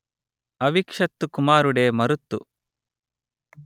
అవిక్షత్తు కుమారుడే మరుత్తు